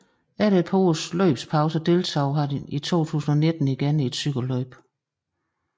Efter et par års løbspause deltog han i 2019 igen i et cykelløb